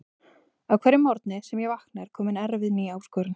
Á hverjum morgni sem ég vakna er komin erfið ný áskorun.